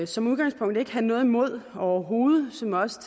som udgangspunkt ikke have noget imod overhovedet som også